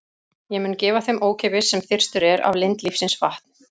Ég mun gefa þeim ókeypis, sem þyrstur er, af lind lífsins vatns.